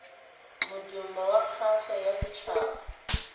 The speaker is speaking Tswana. modumo wa kgaso ya setshaba